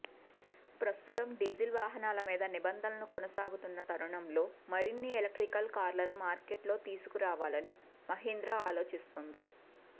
ప్రస్తుతం డీజల్ వాహనాల మీద నిబంధనలు కొనసాగుతున్న తరుణంలో మరిన్ని ఎలక్ట్రిక్ కార్లను మార్కెట్లో తీసుకురావాలని మహీంద్రా ఆలోచిస్తోంది